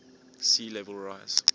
sea level rise